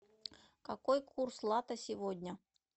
какой курс лата сегодня